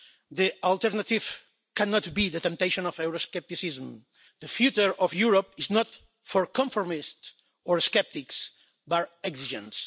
The alternative cannot be the temptation of Euroscepticism. The future of Europe is not for conformists or sceptics, but exigencies.